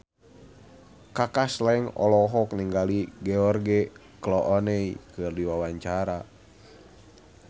Kaka Slank olohok ningali George Clooney keur diwawancara